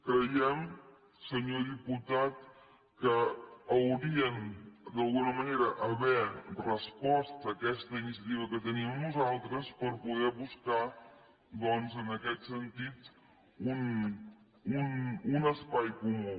creiem senyor diputat que haurien d’alguna manera d’haver respost a aquesta iniciativa que teníem nosaltres per poder buscar doncs en aquest sentit un espai comú